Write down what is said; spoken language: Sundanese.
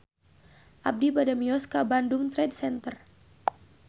Abi bade mios ka Bandung Trade Center